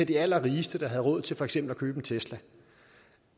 de allerrigeste der har råd til for eksempel at købe en tesla